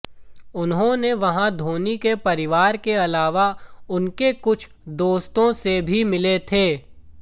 उन्होंने वहां धोनी के परिवार के अलावा उनके कुछ दोस्तों से भी मिले थे